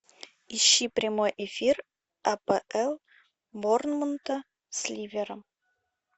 ищи прямой эфир апл борнмута с ливером